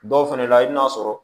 Dɔw fɛnɛ la i bi n'a sɔrɔ